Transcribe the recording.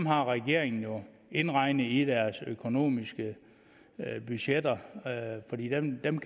har regeringen jo indregnet i deres økonomiske budgetter fordi dem kan